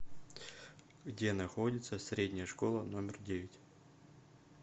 где находится средняя школа номер девять